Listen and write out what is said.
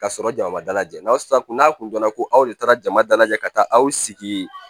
Ka sɔrɔ jama ma dalajɛ n'a sara kunna kun donna ko aw de taara jama dalajɛ ka taa aw sigi